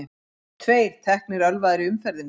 Tveir teknir ölvaðir í umferðinni